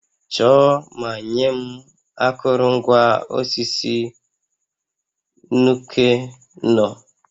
Chọọ ma nye m akụrụngwa osisi Nuke-Noh